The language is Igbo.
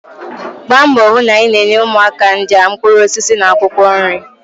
Gbaa mbọ hụ na ị na-enye ụmụaka ndị a mkpụrụ osisi na akwụkwọ nri